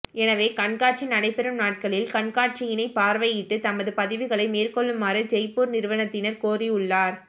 எனவே கண்காட்சி நடைபெறும் நாட்களில் கண்காட்சியினை பார்வையிட்டு தமது பதிவுகளை மேற்கொள்ளுமாறு ஜெய்பூர் நிறுவனத்தினர் கோரியுள்ளனர்